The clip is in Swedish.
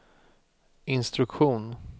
instruktion